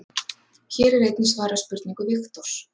Hér er einnig svarað spurningu Viktors: